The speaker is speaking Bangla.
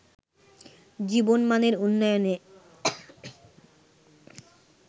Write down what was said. জীবনমানের উন্নয়নে